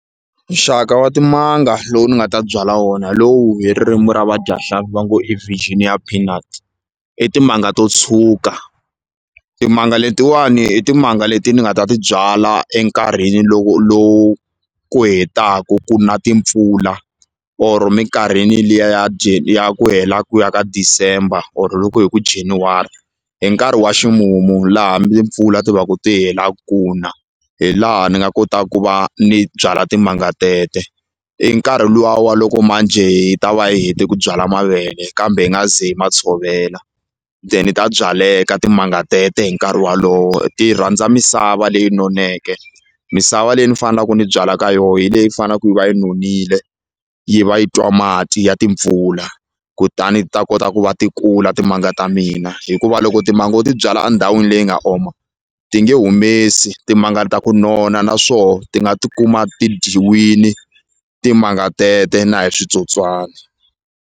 Nxaka wa timanga lowu ni nga ta byala wona hi lowu hi ririmi ra vadyahlampfi va ngo i virginia peanuts i timanga to tshuka timanga letiwani i timanga leti ni nga ta ti byala enkarhini loko lowu ku hetaku ku na timpfula or minkarhini liya ya ya ku hela ku ya ka December or loko hi ku January hi nkarhi wa ximumu la hambi mpfula ti va ku ti hela ku na hi laha ni nga kota ku va ni byala timanga tete i nkarhi luwa wa loko manjhe hi ta va yi hete ku byala mavele kambe yi nga ze hi ma tshovela then ta byaleka timanga tete hi nkarhi walowo ti rhandza misava leyi noneke misava leyi ni fanelaku ni byala ka yo hi leyi fanaku yi va yi nonile yi va yi twa mati ya timpfula kutani ti ta kota ku va ti kula timanga ta mina hikuva loko timanga u ti byala a ndhawini leyi nga oma ti nge humesi timanga ta ku nona na swoho ti nga ti kuma ti dyiwile timanga tete na hi switsotswani.